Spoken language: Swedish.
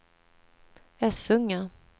Essunga